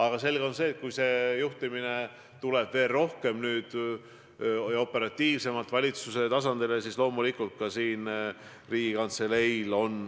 On selge, et kui olukorra juhtimine tuleb veel rohkem ja operatiivsemalt valitsuse tasandile, siis loomulikult on oluline roll ka Riigikantseleil.